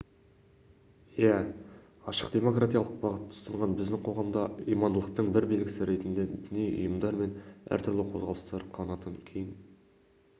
иә ашық демократиялық бағытты ұстанған біздің қоғамда имандылықтың бір белгісі ретінде діни ұйымдар мен әртүрлі қозғалыстар қанатын кең